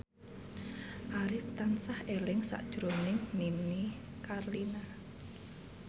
Arif tansah eling sakjroning Nini Carlina